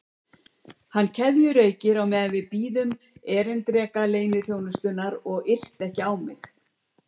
Hann keðjureykti á meðan við biðum erindreka leyniþjónustunnar og yrti ekki á mig.